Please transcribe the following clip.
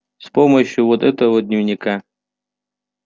с помощью вот этого дневника